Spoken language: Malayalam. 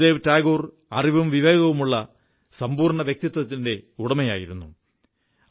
ഗുരുദേവ് ടാഗോർ അറിവും വിവേകവുമുള്ള സമ്പൂർണ്ണ വ്യക്തിത്വത്തിന്റെ ഉടമയായിരുന്നു